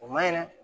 O maɲi dɛ